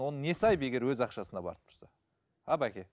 оның несі айып егер өз ақшасына барып тұрса а бәке